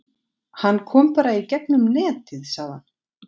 Hann kom bara í gegnum netið sagði hann.